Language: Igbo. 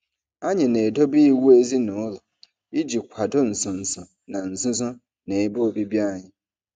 Anyị na-edobe iwu ezinụlọ iji kwado nso nso na nzuzo na ebe obibi anyị.